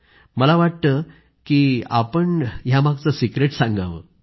मला वाटतं की आपण यामागचं सिक्रेटसांगावं